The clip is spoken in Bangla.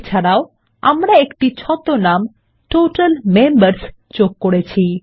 এছাড়াও আমরা একটি ছদ্মনাম টোটাল মেম্বার্স যোগ করেছি